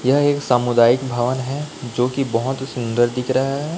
यह एक सामुदायिक भवन है जोकि बहोत ही सुंदर दिख रहा है।